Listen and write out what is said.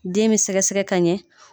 Den be sɛgɛsɛgɛ kaɲɛ